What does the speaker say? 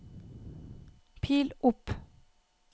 pil opp